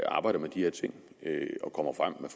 arbejder med de her ting og kommer frem